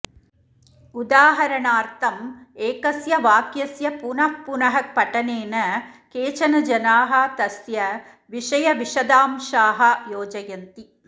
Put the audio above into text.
उदाहरणार्थम् एकस्य वाक्यस्य पुनः पुनः पठनेन केचन जनाः तस्य विषयविशदांशाः योजयन्ति